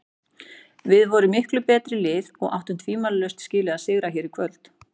Við vorum miklu betra liðið og áttum tvímælalaust skilið að sigra hér í kvöld.